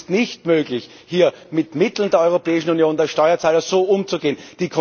Und es ist nicht möglich, hier mit Mitteln der Europäischen Union, des Steuerzahlers, so umzugehen.